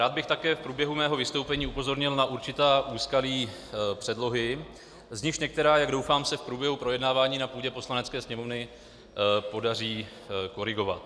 Rád bych také v průběhu svého vystoupení upozornil na určitá úskalí předlohy, z nichž některá, jak doufám, se v průběhu projednávání na půdě Poslanecké sněmovny podaří korigovat.